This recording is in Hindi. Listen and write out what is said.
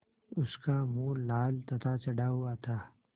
उसका मुँह लाल तथा चढ़ा हुआ था